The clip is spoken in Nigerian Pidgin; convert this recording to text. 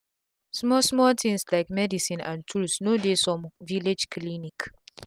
small small um tins lyk medicin and tools no dey some village clinic